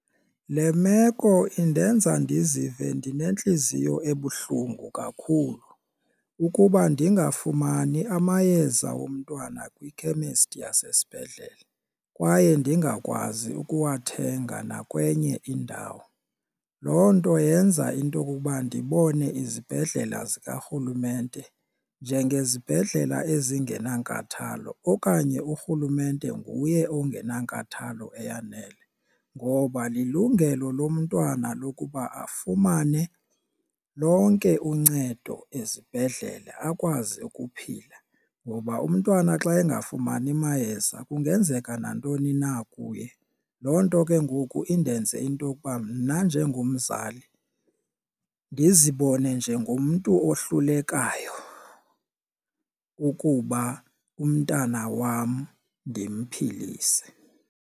Le meko indenza ndizive ndinentliziyo ebuhlungu kakhulu ukuba ndingafumani amayeza womntwana kwikhemesti yasesibhedlele kwaye ndingakwazi ukuwathenga nakwenye indawo. Loo nto yenza into okokuba ndibone izibhedlela zikarhulumente njengezibhedlele ezingenankathalo okanye urhulumente nguye ongenankathalo eyanele, ngoba lilungelo lomntwana lokuba afumane lonke uncedo ezibhedlele akwazi ukuphila. Ngoba umntwana xa engafumani mayeza kungenzeka nantoni na kuye loo nto ke ngoku indenze into yokuba mna njengomzali ndizibone njengomntu ohlulekayo ukuba umntana wam ndimphilise.